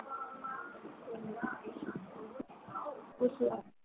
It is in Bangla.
বুঝলাম